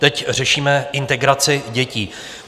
Teď řešíme integraci dětí.